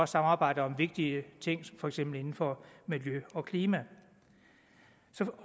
samarbejde om vigtige ting for eksempel inden for miljø og klima